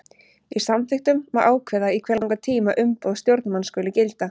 Í samþykktum má ákveða í hve langan tíma umboð stjórnarmanns skuli gilda.